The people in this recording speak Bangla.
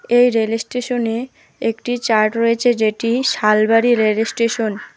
এই রেল স্টেশনে একটি চার্ট রয়েছে যেটি শালবাড়ি রেলওয়ে স্টেশন ।